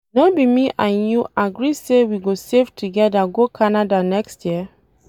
No be me and you agree say we go save together go Canada next year?